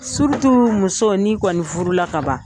muso n'i kɔni furula kaban.